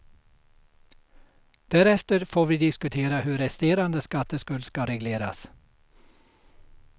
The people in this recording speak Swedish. Därefter får vi diskutera hur resterande skatteskuld ska regleras.